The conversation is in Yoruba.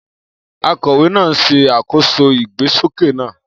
Akọ̀wé náà ń ṣe àkóso ìgbésókè náà.